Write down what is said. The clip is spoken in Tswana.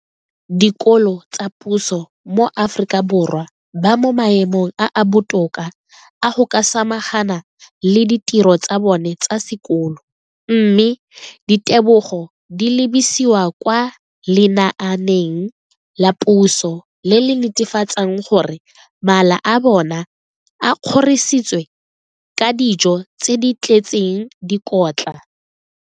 dikolo tsa puso mo Aforika Borwa ba mo maemong a a botoka a go ka samagana le ditiro tsa bona tsa sekolo, mme ditebogo di lebisiwa kwa lenaaneng la puso le le netefatsang gore mala a bona a kgorisitswe ka dijo tse di tletseng dikotla.